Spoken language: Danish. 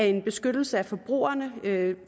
en beskyttelse af forbrugerne ved at